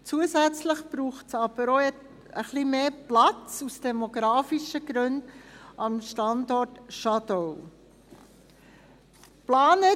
Zusätzlich braucht es aber, aus demografischen Gründen, am Standort Schadau auch etwas mehr Platz.